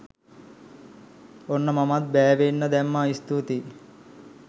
ඔන්න මමත් බෑවෙන්න දැම්මා.ස්තුතියි